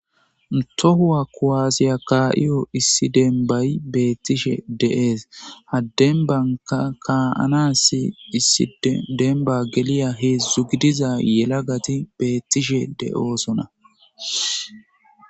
Toho kuwasiya kaa7iyay issi dembay beettishe de7ees,ha dembanka ka7anaassi issi demban veliza hedzdzu yelagati beettishe de7osona.